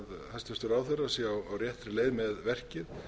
hæstvirtur ráðherra sé á réttri leið með verkið